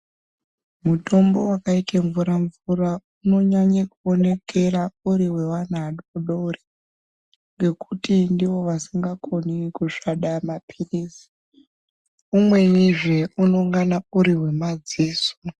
Mutombo wakaite mvura mvura unonyanye kuonekera uri wevana vadodori ngekuti avakoni kusvada mapiritsi umwenizve unongana uri wemadziso.